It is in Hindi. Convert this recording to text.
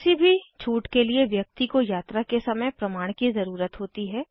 किसी भी छूट के लिए व्यक्ति को यात्रा के समय प्रमाण की ज़रुरत होती है